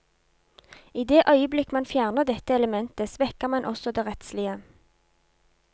I det øyeblikk man fjerner dette elementet, svekker man også det rettslige.